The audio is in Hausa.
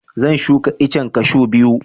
Zan shuka iccen kashu biyu